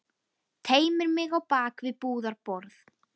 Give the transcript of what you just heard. Teymir mig á bak við búðarborð.